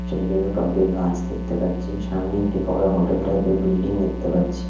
ছোট ছোট টব -এ গাছ দেখতে পাচ্ছি সামনে একটি বড় হোটেল টাইপ -এর বিল্ডিং দেখতে পাচ্ছি।